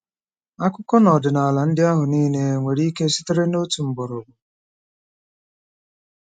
Akụkọ na ọdịnala ndị ahụ niile nwere ike sitere na otu mgbọrọgwụ?